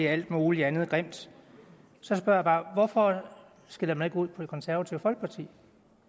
alt muligt andet grimt så spørger jeg bare hvorfor skælder man ikke ud på det konservative folkeparti